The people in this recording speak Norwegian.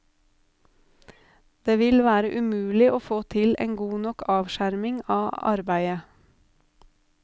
Det vil være umulig å få til en god nok avskjerming av arbeidet.